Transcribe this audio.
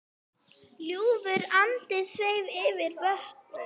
Ljúfur andi sveif yfir vötnum.